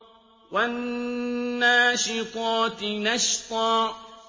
وَالنَّاشِطَاتِ نَشْطًا